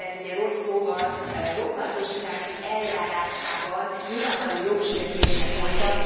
ugye rossz szóval rokkantosítási eljárásában nyilvánvaló jogsértések voltak.